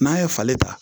N'a ye falen ta